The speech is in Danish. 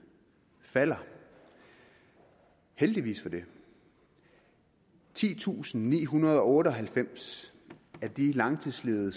falder heldigvis for det titusinde og nihundrede og otteoghalvfems af de langtidsledige